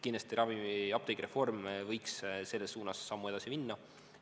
Kindlasti, apteegireform võiks selles suunas sammu edasi minna.